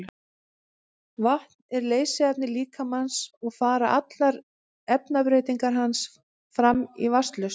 vatn er leysiefni líkamans og fara allar efnabreytingar hans fram í vatnslausn